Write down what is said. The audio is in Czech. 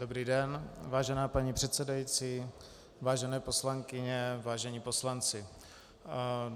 Dobrý den, vážená paní předsedající, vážené poslankyně, vážení poslanci.